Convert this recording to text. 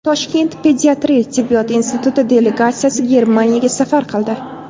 Toshkent pediatriya tibbiyot instituti delegatsiyasi Germaniyaga safar qildi.